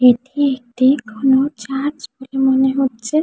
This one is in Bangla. এটি একটি কোনো চার্চ বলে মনে হচ্ছে।